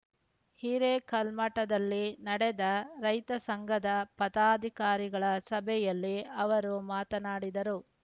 ಹಿರೇಕಲ್ಮಠದಲ್ಲಿ ನಡೆದ ರೈತ ಸಂಘದ ಪದಾಧಿಕಾರಿಗಳ ಸಭೆಯಲ್ಲಿ ಅವರು ಮಾತನಾಡಿದರು